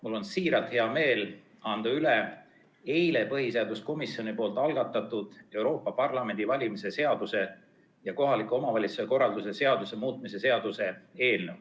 Mul on siiralt hea meel anda üle põhiseaduskomisjonis eile algatatud Euroopa Parlamendi valimise seaduse ja kohaliku omavalitsuse korralduse seaduse muutmise seaduse eelnõu.